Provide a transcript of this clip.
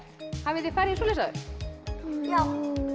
hafið þið farið í svoleiðis áður já